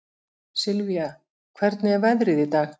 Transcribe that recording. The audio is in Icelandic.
Sylvia, hvernig er veðrið í dag?